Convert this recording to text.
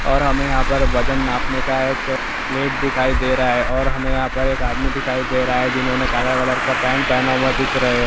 और हमें यहाँ पर वजन नापने का एक प्लेट दिखाई दे रहा है और हमें एक आदमी दिखाई दे रहा है जिन्होंने काला कलर का पेन्ट पहना हुआ दिख रहे हैं।